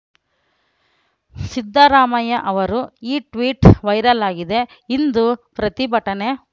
ಸಿದ್ದರಾಮಯ್ಯ ಅವರು ಈ tweet viral ಆಗಿದೆ ಇಂದು ಪ್ರತಿಭಟನೆ